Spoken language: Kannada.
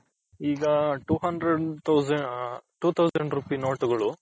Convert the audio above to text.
ಈಗ two hundred two thousand rupee note ಗಳು